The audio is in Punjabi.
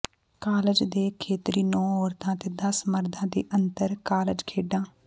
ਕਾਲਜ ਦੇ ਖੇਤਰੀ ਨੌਂ ਔਰਤਾਂ ਅਤੇ ਦਸ ਮਰਦਾਂ ਦੇ ਅੰਤਰ ਕਾਲਜ ਖੇਡਾਂ